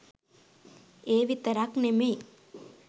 ඒ විතරක් නෙමෙයි